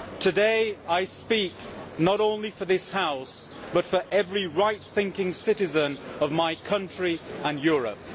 Today I speak not only for this House, but for every right thinking citizen of my country and Europe.